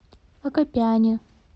акопяне